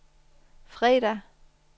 fredag